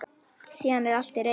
Síðan er allt til reiðu.